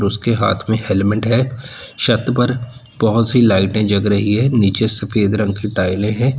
उसके हाथ में हेलमेट है छत पर बहुत सी लाइटें जग रही है नीचे सफेद रंग की टाइले हैं।